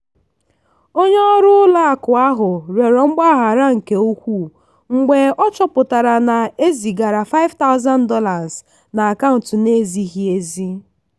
onye ọrụ ụlọ akụ ahụ rịọrọ mgbaghara nke ukwuu mgbe ọ chọpụtara na e zigara $5000 n'akaụntụ na-ezighị ezi.